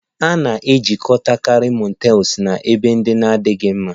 A na-ejikọtakarị motels na ebe ndị na-adịghị mma